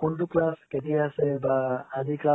কোনটো class শ্ৰেণী আছে বা আজি class